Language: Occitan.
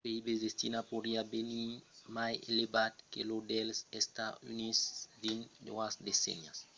lo pib de china podriá venir mai elevat que lo dels estats units dins doas decennias